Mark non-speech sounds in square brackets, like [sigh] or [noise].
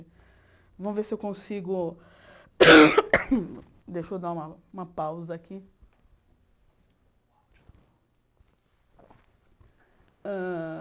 Vamos ver se eu consigo... [coughs] Deixa eu dar uma uma pausa aqui. Hã